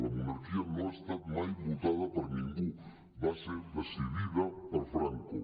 la monarquia no ha estat mai votada per ningú va ser decidida per franco